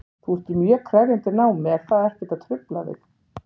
Þú ert í mjög krefjandi námi, er það ekkert að trufla þig?